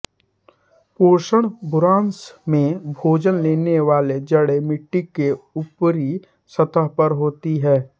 पोषणः बुरांस में भोजन लेने वाली जड़ें मिट्टी की ऊपरी सतह पर होती हैं